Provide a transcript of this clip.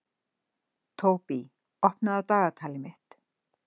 Tóbý, opnaðu dagatalið mitt.